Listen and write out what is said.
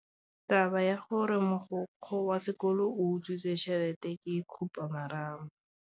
Taba ya gore mogokgo wa sekolo o utswitse tšhelete ke khupamarama.